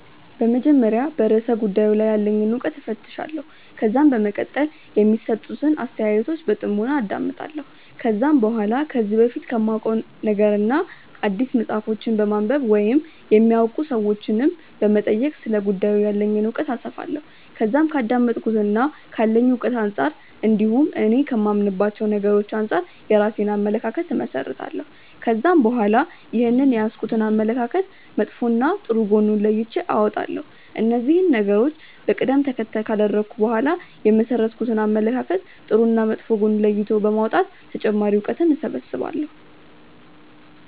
በመጀመሪያ በርእሰ ጉዳዩ ላይ ያለኝን እውቀት እፈትሻለሁ። ከዛም በመቀጠል የሚሰጡትን አስተያየቶች በጥሞና አዳምጣለሁ። ከዛም በኋላ ከዚህ በፊት ከማውቀው ነገርና አዲስ መጽሐፎችን በማንበብ ወይም የሚያውቁ ሰዎችንም በመጠየቅ ስለ ጉዳዩ ያለኝን እውቀት አሰፋለሁ። ከዛም ከአዳመጥኩትና ካለኝ እውቀት አንጻር እንዲሁም እኔ ከማምንባቸው ነገሮች አንጻር የራሴን አመለካከት እመሠረታለሁ። ከዛም በኋላ ይህንን የያዝኩትን አመለካከት መጥፎና ጥሩ ጎን ለይቼ አወጣለሁ። እነዚህን ነገሮች በቀደም ተከተል ካደረኩ በኋላ የመሠረትኩትን አመለካከት ጥሩና መጥፎ ጎን ለይቶ በማውጣት ተጨማሪ እውቀትን እሰበስባለሁ።